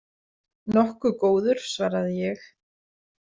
Nokkuð góður, svaraði ég.